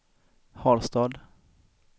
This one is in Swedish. Harstad